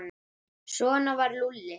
Svona var Lúlli.